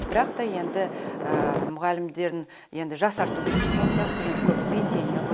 бірақ та енді мұғалімдерін енді жасарту керек деген сияқты енді көбі пенсионер ғой